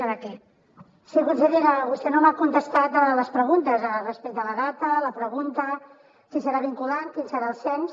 sí consellera vostè no m’ha contestat a les preguntes respecte a la data a la pregunta si serà vinculant quin serà el cens